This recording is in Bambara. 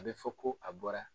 A bɛ fɔ ko a bɔra.